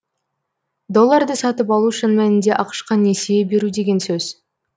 долларды сатып алу шын мәнінде ақш қа несие беру деген сөз